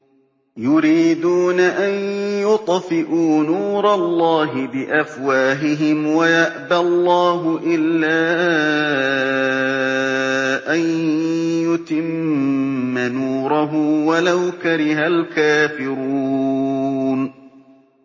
يُرِيدُونَ أَن يُطْفِئُوا نُورَ اللَّهِ بِأَفْوَاهِهِمْ وَيَأْبَى اللَّهُ إِلَّا أَن يُتِمَّ نُورَهُ وَلَوْ كَرِهَ الْكَافِرُونَ